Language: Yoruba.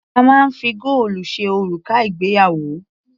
A máa ń fi góòlù ṣe òrùka ìgbéyàwó.